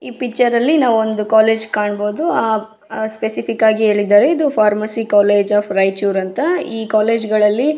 ಈ ಪಿಕ್ಚರ್ ಅಲ್ಲಿ ನಾವು ಒಂದು ಕಾಲೇಜು ಕಾಣಬಹುದು ಆಹ್ಹ್ ಸ್ಪೆಸಿಫಿಕ್ ಆಗಿ ಹೇಳಿದ್ದಾರೆ ಇದು ಫಾರ್ಮಸಿ ಕಾಲೇಜು ಒಫ್ ರೈಚೂರ್ ಅಂತ ಈ ಕಾಲೇಜು ಗಳಲ್ಲಿ --